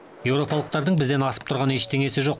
еуропалықтардың бізден асып тұрған ештеңесі жоқ